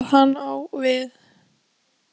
Veit ekki hvað hann á við.